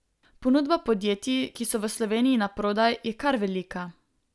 Ponudba podjetij, ki so v Sloveniji naprodaj, je kar velika.